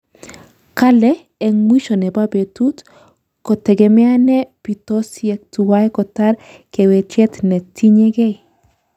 Kale, eng mwisho nebo betut, ko tegemeane bitosyek tuwai kotar kawechet ne tinyegei